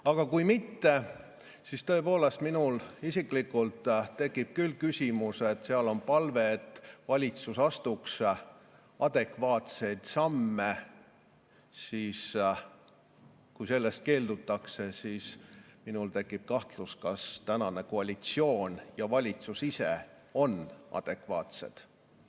Aga kui mitte, siis tõepoolest, minul isiklikult tekib küll küsimus – seal on palve, et valitsus astuks adekvaatseid samme –, kui sellest keeldutakse, siis minul tekib kahtlus, kas tänane koalitsioon ja valitsus ise on adekvaatsed.